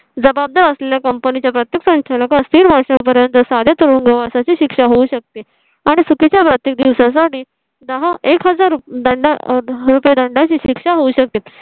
जबाबदार असल्या company च्या प्रत्येक संचालकस तीन वर्षा पर्यंत साध्या तुरुंगवासा ची शिक्षा होऊ शकते आणि चुकी च्या प्रत्येक दिवसा साठी दहा एक हजार दंड रुपये दंडा ची शिक्षा होऊ शकते.